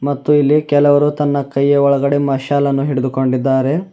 ಮತ್ತು ಇಲ್ಲಿ ಕೆಲವರು ತನ್ನ ಕೈಯ ಒಳಗಡೆ ಮಾಶಾಲನ್ನು ಹಿಡಿದು ಕೊಂಡಿದ್ದಾರೆ.